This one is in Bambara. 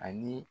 Ani